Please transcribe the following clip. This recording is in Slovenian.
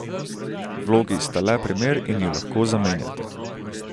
Vlogi sta le primer in ju lahko zamenjate.